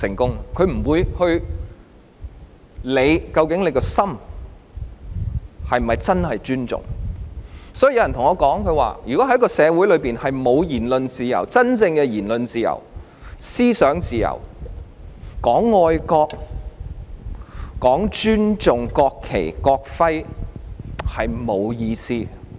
極權者不會理會人民內心是否真正尊重，所以有人告訴我，如果在一個社會裏，沒有言論自由、真正的言論自由、思想自由，談愛國、談尊重國旗、國徽是沒有意思的。